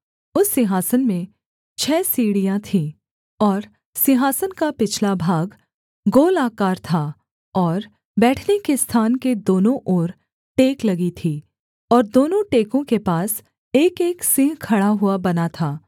उस सिंहासन में छः सीढ़ियाँ थीं और सिंहासन का पिछला भाग गोलाकार था और बैठने के स्थान के दोनों ओर टेक लगी थीं और दोनों टेकों के पास एकएक सिंह खड़ा हुआ बना था